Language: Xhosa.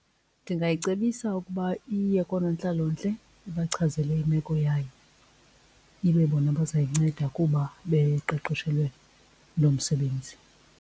Ndingayicebisa ukuba iye koonontlalontle ibachazele imeko yayo, ibe bona bazayinceda kuba beqeqeshelwe loo msebenzi.